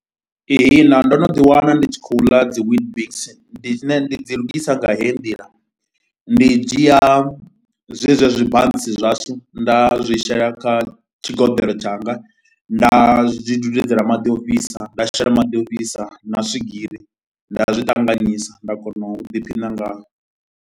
Ihina ndo no ḓiwana ndi tshi khou ḽa dzi Weetbix, ndi tshine ndi dzi lugisa nga heyi nḓila, ndi dzhia zwezwi zwibantsi zwashu nda zwi shela kha tshigeḓeḽo tshanga, nda zwi dudedzela maḓi a u fhisa, nda shela maḓi a u fhisa na swigiri, nda zwi ṱanganyisa nda kona u ḓiphina ngao.